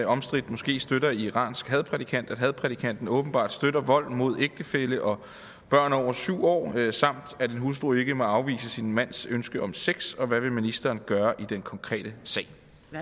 omstridt moské støtter iransk hadprædikant at hadprædikanten åbenbart støtter vold mod ægtefælle og børn over syv år samt at en hustru ikke må afvise sin mands ønske om sex og hvad vil ministeren gøre i den konkrete sag